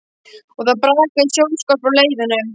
Og það brakaði í snjóskorpu á leiðunum.